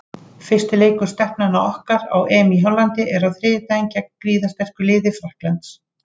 Fyrsti leikur Stelpnanna okkar á EM í Hollandi er á þriðjudaginn gegn gríðarsterku liði Frakklands.